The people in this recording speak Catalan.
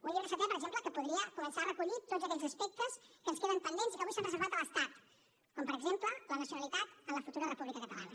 un llibre setè per exemple que podria començar a recollir tots aquells aspectes que ens queden pendents i que avui s’han reservat a l’estat com per exemple la nacionalitat en la futura república catalana